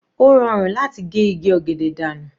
Ó rọrùn láti ge igi ọ̀gẹ̀dẹ̀ dànù.